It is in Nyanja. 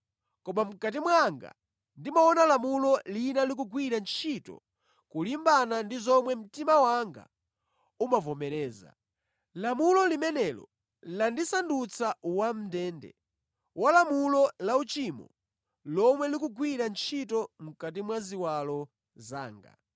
Koma mʼkati mwanga ndimaona lamulo lina likugwira ntchito kulimbana ndi zomwe mtima wanga umavomereza. Lamulo limenelo landisandutsa wamʼndende walamulo la uchimo lomwe likugwira ntchito mʼkati mwa ziwalo zanga.